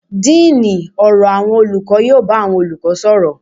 Díínì ọ̀rọ̀ àwọn olùkọ́ yóò bá àwọn olùkọ́ sọ̀rọ̀.